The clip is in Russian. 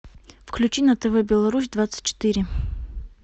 включи на тв беларусь двадцать четыре